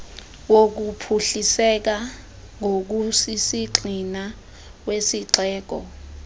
wokuphuhliseka ngokusisigxina kwesixeko